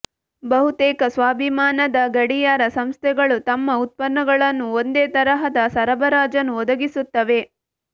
ಬಹುತೇಕ ಸ್ವಾಭಿಮಾನದ ಗಡಿಯಾರ ಸಂಸ್ಥೆಗಳು ತಮ್ಮ ಉತ್ಪನ್ನಗಳನ್ನು ಒಂದೇ ತರಹದ ಸರಬರಾಜನ್ನು ಒದಗಿಸುತ್ತವೆ